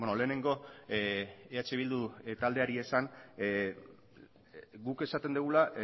lehenengo eh bildu taldeari esan guk esaten dugula